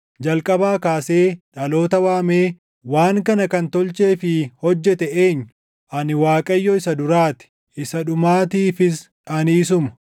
Jalqabaa kaasee dhaloota waamee waan kana kan tolchee fi hojjete eenyu? Ani Waaqayyo isa duraa ti; isa dhumaatiifis ani isuma.”